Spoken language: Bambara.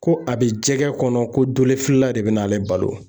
Ko a bɛ jɛgɛ kɔnɔ ko dolefilela de bɛ na ale balo.